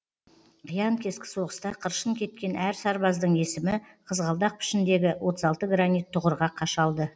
қиян кескі соғыста қыршын кеткен әр сарбаздың есімі қызғалдақ пішініндегі отыз алты гранит тұғырға қашалды